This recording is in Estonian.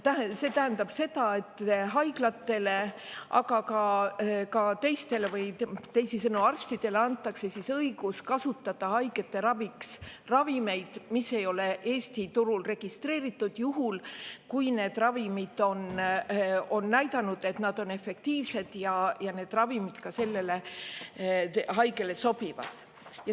See tähendab seda, et haiglatele, aga ka teistele, teisisõnu arstidele antakse õigus kasutada haige raviks ravimit, mis ei ole Eesti turul registreeritud, juhul kui see ravim on näidanud, et ta on efektiivne, ja see ravim sellele haigele sobib.